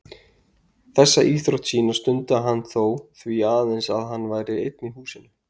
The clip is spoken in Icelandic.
Þessa íþrótt sína stundaði hann þó því aðeins að hann væri einn í húsinu.